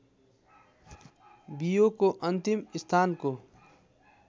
बियोको अन्तिम स्थानको